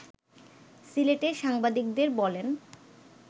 সিলেটে সাংবাদিকদের বলেন